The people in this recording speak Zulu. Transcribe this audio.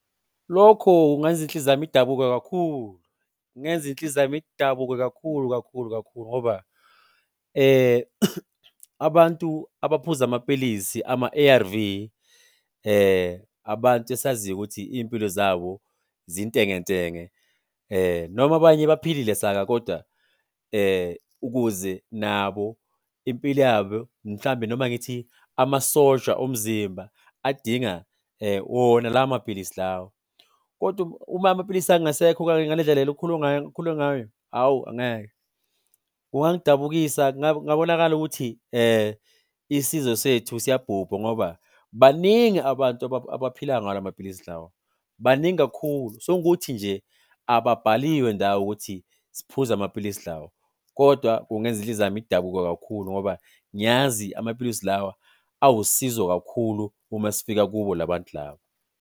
Lokho kungayenza inhliziyo yami idabuke kakhulu. Kungenza inhliziyo yami idabuke kakhulu kakhulu kakhulu ngoba abantu abaphuza amapilisi ama-A_R_V, abantu esaziyo ukuthi iy'mpilo zabo zintengentenge noma abanye baphilile saka koda ukuze nabo impilo yabo mhlambe noma ngithi amasosha omzimba adinga wona lawo mapilisi lawa. Kodwa uma amapilisi angasekho ngale ndlela le ngayo, awu angeke, kungangidabukisa, kungakabonakali ukuthi isizwe sethu siyabhubha ngoba baningi abantu abaphila ngalamapilisi lawa, baningi kakhulu. Sekungukuthi nje ababhaliwe ndawo ukuthi siphuza amapilisi lawa, kodwa kungenza inhliziyo yami idabuke kakhulu ngoba ngiyazi amapilisi lawa awusizo kakhulu uma sifika kubo la bantu laba.